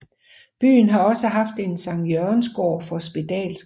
Byen har også haft en Sankt Jørgensgård for spedalske